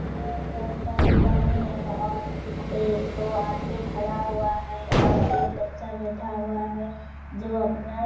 और एक बच्चा बैठा हुआ है जो अपना